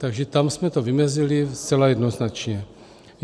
Takže tam jsme to vymezili zcela jednoznačně.